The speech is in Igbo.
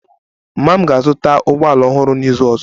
Mama m ga-azụta ụgbọ ala ọhụrụ n'izu ọzọ